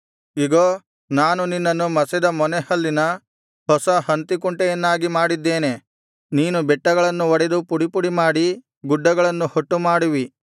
ಇಗೋ ನಾನು ನಿನ್ನನ್ನು ಮಸೆದ ಮೊನೆಹಲ್ಲಿನ ಹೊಸ ಹಂತಿಕುಂಟೆಯನ್ನಾಗಿ ಮಾಡಿದ್ದೇನೆ ನೀನು ಬೆಟ್ಟಗಳನ್ನು ಒಡೆದು ಪುಡಿಪುಡಿಮಾಡಿ ಗುಡ್ಡಗಳನ್ನು ಹೊಟ್ಟು ಮಾಡುವಿ